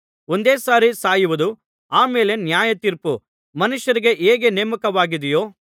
ಒಂದೇ ಸಾರಿ ಸಾಯುವುದೂ ಆ ಮೇಲೆ ನ್ಯಾಯತೀರ್ಪು ಮನುಷ್ಯರಿಗೆ ಹೇಗೆ ನೇಮಕವಾಗಿದೆಯೋ